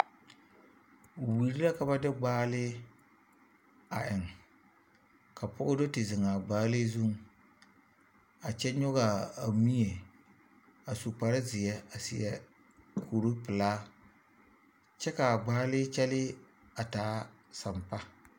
Wiri laa ka ba de gbaalii a eŋ ka pɔge do te zeŋ gbaalii zuŋ a kyɛ nyɔge a mie a su kparezeɛ a seɛ kuripelaa kyɛ ka a gbaalii kyɛlɛɛ a taa sampa.